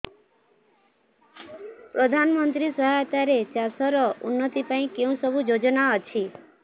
ପ୍ରଧାନମନ୍ତ୍ରୀ ସହାୟତା ରେ ଚାଷ ର ଉନ୍ନତି ପାଇଁ କେଉଁ ସବୁ ଯୋଜନା ଅଛି